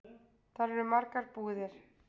Þar eru margar búðir.